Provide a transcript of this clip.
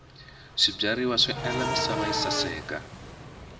swibyariwa swi endla misava yi saseka